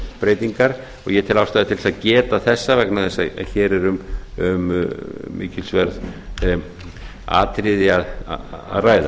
breytingar ég tel ástæðu til þess að geta þessa vegna þess að hér er um mikilsverð atriði að ræða